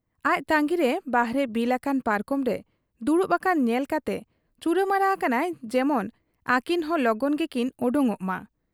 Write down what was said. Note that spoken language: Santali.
ᱟᱡ ᱛᱟᱺᱜᱤᱨᱮ ᱵᱟᱦᱨᱮ ᱵᱤᱞ ᱟᱠᱟᱱ ᱯᱟᱨᱠᱚᱢᱨᱮ ᱫᱩᱲᱩᱵ ᱟᱠᱟᱱ ᱧᱮᱞ ᱠᱟᱛᱮ ᱪᱩᱨᱟᱹᱢᱟᱨᱟ ᱟᱠᱟᱱᱟᱭ ᱡᱮᱢᱚᱱ ᱟᱹᱠᱤᱱᱦᱚᱸ ᱞᱚᱜᱚᱱ ᱜᱮᱠᱤᱱ ᱚᱰᱚᱠᱚᱜ ᱢᱟ ᱾